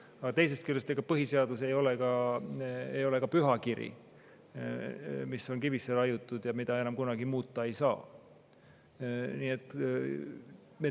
Aga teisest küljest, ega põhiseadus ei ole ka pühakiri, mis on kivisse raiutud ja mida enam kunagi muuta ei saa.